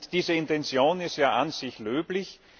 Diese Intention ist ja an sich löblich.